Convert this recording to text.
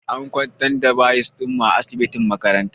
An kwantar da bayis ɗinmu a asibitin makaranta